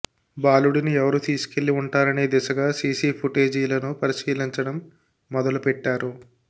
బాలుడిని ఎవరు తీసుకెళ్లి ఉంటారనే దిశగా సీసీ ఫుటేజీలను పరిశీలించడం మొదలుపెట్టారు